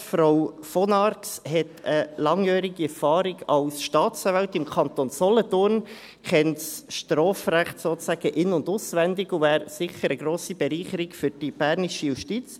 Frau von Arx hat langjährige Erfahrung als Staatsanwältin im Kanton Solothurn, kennt das Strafrecht sozusagen in- und auswendig und wäre für die bernische Justiz sicher eine grosse Bereicherung.